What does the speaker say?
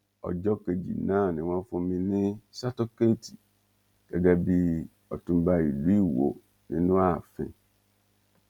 ọjọ kejì náà ni wọn fún mi ní sátọkẹẹtì gẹgẹ bíi ọtúnba ìlú iwọ nínú ààfin